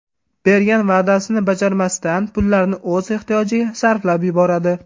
Bergan va’dasini bajarmasdan, pullarni o‘z ehtiyojiga sarflab yuboradi.